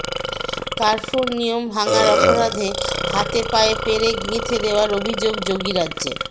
কার্ফুর নিয়ম ভাঙার অপরাধে হাতে পায়ে পেরেক গেঁথে দেওয়ার অভিযোগ যোগীরাজ্যে